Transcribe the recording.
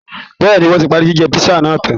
Bẹ́ẹ̀ ni, wọ́n ti parí jíjẹ písà náà tán